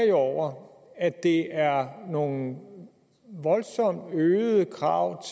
jo over at det er nogle voldsomt øgede krav